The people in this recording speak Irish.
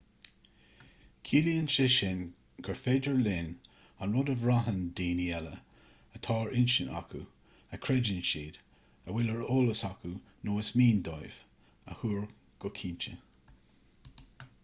ciallaíonn sé sin gur féidir linn an rud a bhraitheann daoine eile atá ar intinn acu a chreideann siad a bhfuil ar eolas acu nó is mian dóibh a thuar go cinnte